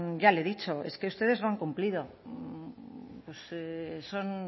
ya le he dicho es que ustedes no han cumplido pues son